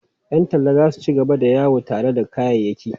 Yan talla za su ci gaba da yawo tare da kayayyaki.